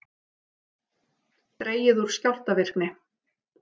Dregið úr skjálftavirkni